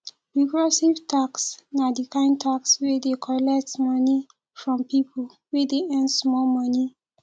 regressive tax na di kind tax wey dey collect more money from pipo wey dey earn small money